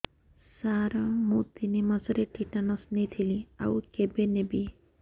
ସାର ମୁ ତିନି ମାସରେ ଟିଟାନସ ନେଇଥିଲି ଆଉ କେବେ ନେବି